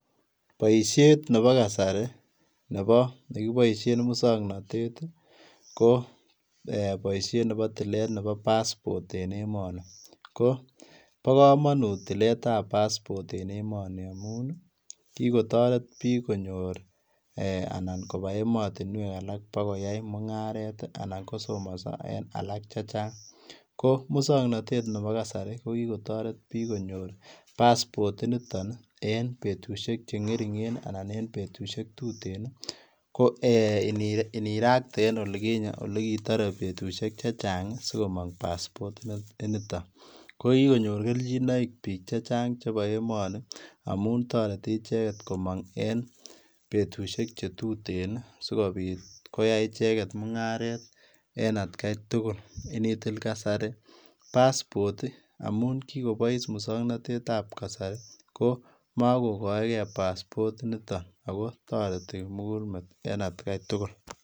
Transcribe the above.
Boisiet nebo kasari nebo nekibaisheen musangnatet ab kasari ii ko eeh boisiet nebo toilet nebo [passport] ko bo kamanut tiler ab [passport] en emanii kikotareet biik konyoor eeh anan kobaa ematinweek alaak koyai mungaret anan ko somasaa en alaak che chaang ko musangnatet nebo ko kitaret biik konyoor [passport] en betusiek che ngeringeen ii anan tuteen ko eeh inirakte en olikinyei olikitare betusiek chechaang sikomaang [passport] initoon ko kikonyoor keljinaik biik chechaang en emanii ii amuun taretii ichegeet komaang en betusiek tuteen ii sikobiit koyai ichegeet mungaret en at gai tugul initil kasari [passport] amuun Kiko Bois musangnatet ab kasari ko makokaegei [passport] initoo ago taretii kimuguul met en at gai tugul.